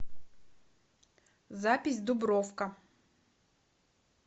запись дубровка